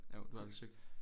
Jo du har lige søgt